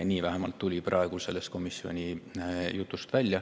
Nii vähemalt tuli praegu komisjonis sellest jutust välja.